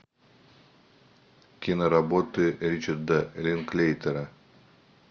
киноработы ричарда линклейтера